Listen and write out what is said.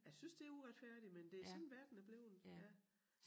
Jeg synes det uretfærdigt men det sådan verden er blevet ja